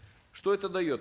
что это дает